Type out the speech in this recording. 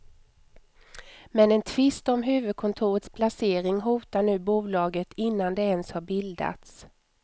Men en tvist om huvudkontorets placering hotar nu bolaget innan det ens har bildats.